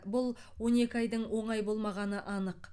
бұл он екі айдың оңай болмағаны анық